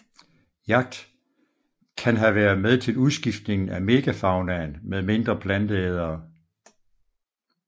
Jagt kan have været med til udskiftningen af megafaunaen med mindre planteædere